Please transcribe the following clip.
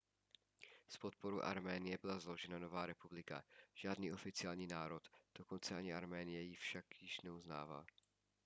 s podporou arménie byla založena nová republika žádný oficiální národ dokonce ani arménie ji však neuznává